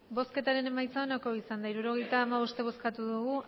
hirurogeita hamabost eman dugu